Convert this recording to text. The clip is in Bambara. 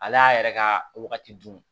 Ale y'a yɛrɛ ka wagati dun